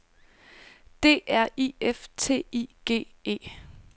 D R I F T I G E